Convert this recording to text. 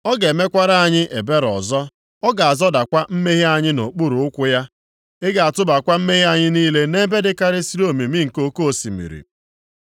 Ọ ga-emekwara anyị ebere ọzọ. Ọ ga-azọdakwa mmehie anyị nʼokpuru ukwu ya, Ị ga-atụbakwa mmehie anyị niile nʼebe dịkarịsịrị omimi nke oke osimiri.